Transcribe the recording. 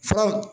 Fɔ